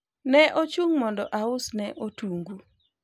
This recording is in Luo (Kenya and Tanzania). ne ochung' mondo ausne otungu